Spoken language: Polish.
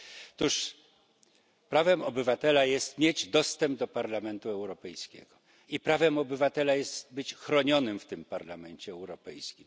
Otóż prawem obywatela jest mieć dostęp do Parlamentu Europejskiego i prawem obywatela jest być chronionym w tym Parlamencie Europejskim.